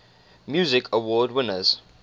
music awards winners